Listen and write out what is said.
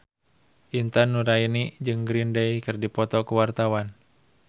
Intan Nuraini jeung Green Day keur dipoto ku wartawan